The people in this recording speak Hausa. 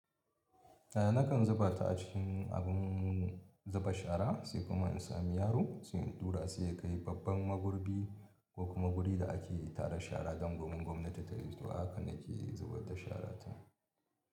Nakan zuba ta a cikin abin zuba shara sai kuma in sami yaro sai in ɗura sai ya kai babban magurbi ko kuma guri da ake tara shara don domin gwamnati ta yito haka nake zubar da shara ta.